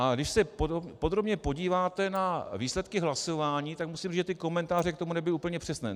A když se podrobně podíváte na výsledky hlasování, tak musím říct, že ty komentáře k tomu nebyly úplně přesné.